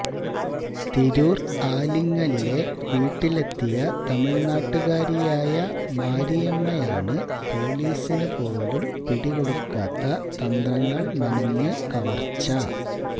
തിരൂർ ആലിങ്ങലിലെ വീട്ടിലെത്തിയ തമിഴ്നാട്ടുകാരിയായ മാരിയമ്മയാണ് പൊലീസിന് പോലും പിടികൊടുക്കാത്ത തന്ത്രങ്ങൾ മെനഞ്ഞ് കവർച്ച